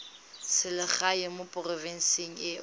selegae mo porofenseng e o